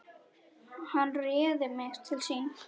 Hann réði mig til sín.